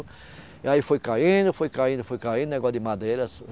E aí foi caindo, foi caindo, foi caindo, negócio de madeira.